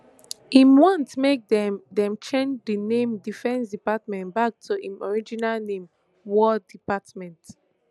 im want make dem dem change di name defence department back to im original name war department